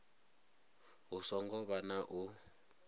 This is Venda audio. hu songo vha na u